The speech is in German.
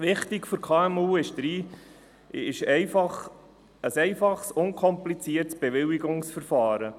Wichtig für die KMU ist ein einfaches und unkompliziertes Bewilligungsverfahren.